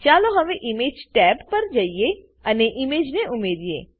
ચાલો હવે image tab પર જઈએ અને ઈમેજને ઉમેરીએ